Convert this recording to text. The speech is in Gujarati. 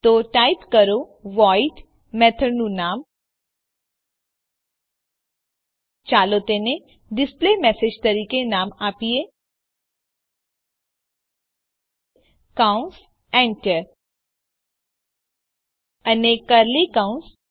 તો ટાઈપ કરો વોઇડ મેથડનું નામ ચાલો તેને ડિસ્પ્લેમેસેજ તરીકે નામ આપીએ કૌંસ Enter અને કર્લી કૌંસ